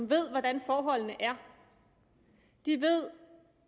ved hvordan forholdene er er ved